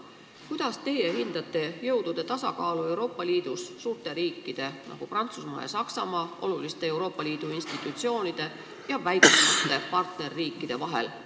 Kuidas te hindate jõudude tasakaalu Euroopa Liidus suurte riikide, nagu Prantsusmaa ja Saksamaa, oluliste Euroopa Liidu institutsioonide ja väiksemate partnerriikide vahel?